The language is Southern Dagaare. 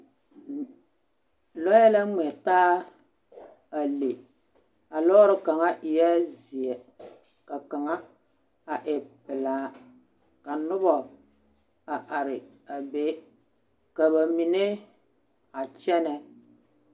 Lͻԑ la ŋmԑ taa a le. A lͻͻre kaŋa eԑԑ zeԑ ka kaŋa e pelaa. ka noba a are a be. Ka ba mine a kyԑnԑ.